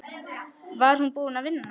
Var hún búin að vinna?